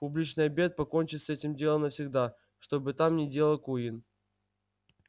публичный обед покончит с этим делом навсегда что бы там ни делал куинн